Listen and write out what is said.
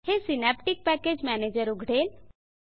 हे synaptic package manager उघडेल